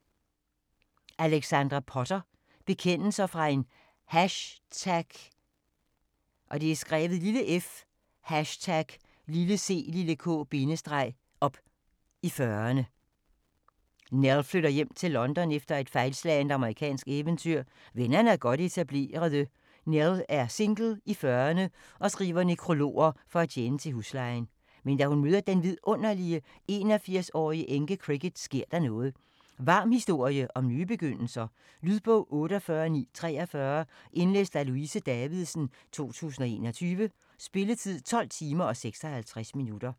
Potter, Alexandra: Bekendelser fra en f#ck-up i fyrrerne Nell flytter hjem til London efter et fejlslagent amerikansk eventyr. Vennerne er godt etablerede, Nell er single, i fyrrerne og skriver nekrologer for at tjene til huslejen. Men da hun møder den vidunderlige 81-årige enke, Cricket, sker der noget. Varm historie om nye begyndelser,. Lydbog 48943 Indlæst af Louise Davidsen, 2021. Spilletid: 12 timer, 56 minutter.